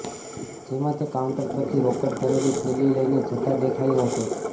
જેમા તે કાઉન્ટર પરથી રોકડ ભરેલી થેલી લઈને જતા દેખાયો હતો